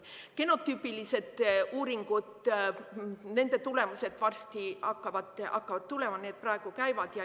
Genotüübilised uuringud – nende tulemused hakkavad varsti tulema, need praegu käivad.